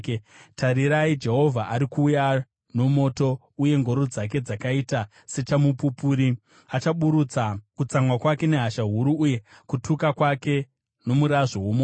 Tarirai, Jehovha ari kuuya nomoto, uye ngoro dzake dzakaita sechamupupuri; achaburutsa kutsamwa kwake nehasha huru, uye kutuka kwake nomurazvo womoto.